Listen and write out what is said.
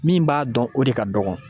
Min b'a dɔn o de ka dɔgɔn.